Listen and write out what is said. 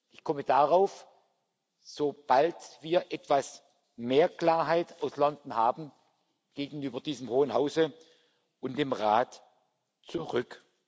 Ich komme darauf, sobald wir etwas mehr Klarheit aus London haben, gegenüber diesem Hohen Hause und dem Rat zurück.